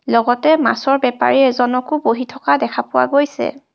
লগতে মাছৰ বেপাৰী এজনকো বহি থকা দেখা পোৱা গৈছে।